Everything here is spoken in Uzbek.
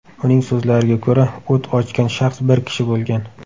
Uning so‘zlariga ko‘ra, o‘t ochgan shaxs bir kishi bo‘lgan.